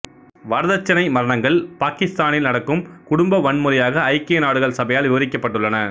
வரதட்சணை மரணங்கள் பாக்கித்தானில் நடக்கும் குடும்ப வன்முறையாக ஐக்கிய நாடுகள் சபையால் விவரிக்கப்பட்டுள்ளன